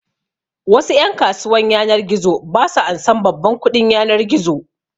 Wasu ƴan kasuwan yanar gizo su ba ansan babban kuɗin yanar gizo